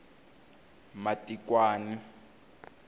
matikwani